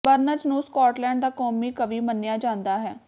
Burns ਨੂੰ Scotland ਦਾ ਕੌਮੀ ਕਵੀ ਮੰਨਿਆ ਜਾਂਦਾ ਹੈ